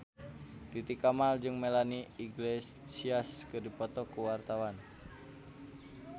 Titi Kamal jeung Melanie Iglesias keur dipoto ku wartawan